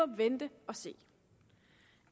må vente og se